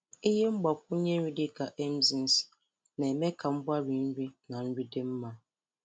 Ihe mgbakwunye nri dịka enzymes na-eme ka mgbari nri na nri dị mma.